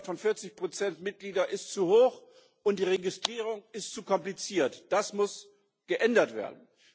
Der Schwellenwert von 40 Mitglieder ist zu hoch, und die Registrierung ist zu kompliziert. Das muss geändert werden.